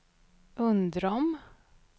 Undrom